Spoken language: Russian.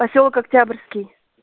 посёлок октябрьский